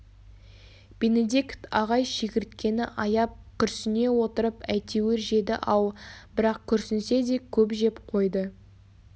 бенедикт ағай шегірткені аяп күрсіне отырып әйтеуір жеді-ау бірақ күрсінсе де көп жеп қойды